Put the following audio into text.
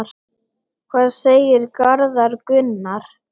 Hvað segir Garðar Gunnar?